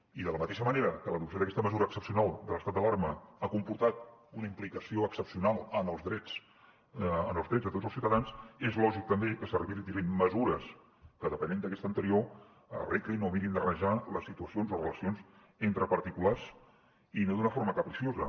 i de la mateixa manera que l’adopció d’aquesta mesura excepcional de l’estat d’alarma ha comportat una implicació excepcional en els drets de tots els ciutadans és lògic també que s’habilitin mesures que depenent d’aquesta anterior arreglin o mirin d’arranjar les situacions o relacions entre particulars i no d’una forma capriciosa